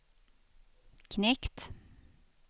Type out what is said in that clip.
knekt